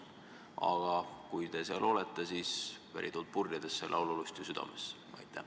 Aga kui te seal olete, siis pärituult purjedesse ja laululusti südamesse!